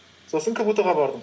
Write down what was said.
сосын кбту ға бардым